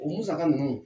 O musaka ninnu